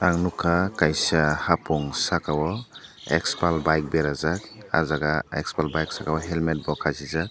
ang nogkha kaisa hapong saka o xpuls bike berajak ah jaga xpuls saka o helmet bo kasijak.